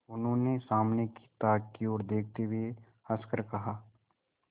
उन्होंने सामने की ताक की ओर देखते हुए हंसकर कहा